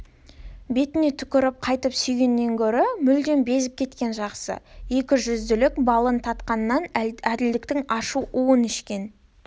бетіне түкіріп қайтып сүйгеннен гөрі мүлдем безіп кеткен жақсы екіжүзділіктің балын татқаннан әділдіктің ащы уын ішкен